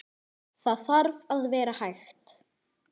Það þarf að vera hægt.